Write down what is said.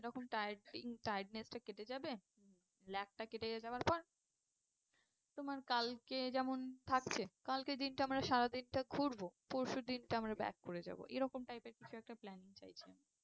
এরকম tiredness টা কেটে যাবে উম ল্যাকটা কেটে যাওয়ার পর তোমার কালকে যেমন থাকছে কালকের দিনটা আমরা সারা দিনটা ঘুরবো পরশুদিনকে আমরা back করে যাবো আর কি। এরকম type এর কিছু একটা plaing চাইছি আমি।